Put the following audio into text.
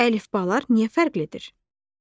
Əlifbalar niyə fərqlidir?